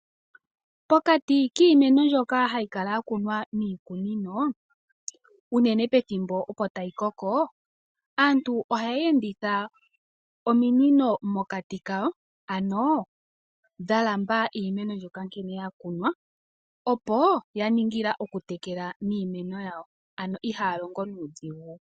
Pokati kiimeno mbyoka hayi kala ya kunwa miikunino unene pethimbo opo tayi koko aantu ohaya enditha ominino mokati kayo ano dha lamba iimeno mbyoka nkene ya kunwa opo yaningila okutekela iimeno yawo ano ihaya longo nuudhigu.